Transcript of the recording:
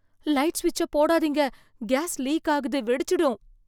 Light சுவிட்சப் போடாதீங்க. Gas leak ஆகுது, வெடிச்சிடும்.